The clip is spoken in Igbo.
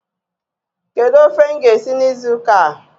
Kedu ofe m ga-esi n'izu ụka a?